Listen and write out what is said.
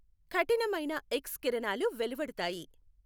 కఠినమైన ఎక్స్ కిరణాలు వెలువడుతాయి.